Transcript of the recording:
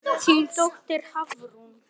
Þín dóttir, Hafrún.